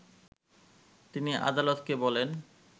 তিনি আদালতকে বলেন